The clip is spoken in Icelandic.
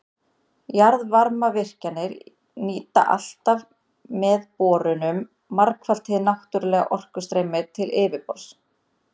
Jarðvarmavirkjanir nýta alltaf með borunum margfalt hið náttúrlega orkustreymi til yfirborðs.